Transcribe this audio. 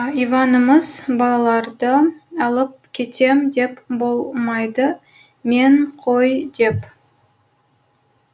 иванымыз балаларды алып кетем деп болмайды мен қой деп